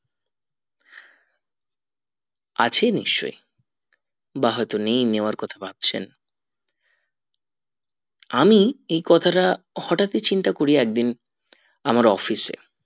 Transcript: আছে নিশ্চয় বা হয়তো নেই নেওয়ার কথা ভাবছেন আমি এই কথাটা হটাৎ ই চিন্তা করি একদিন আমার office এ